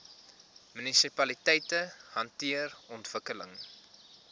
munisipaliteite hanteer ontwikkeling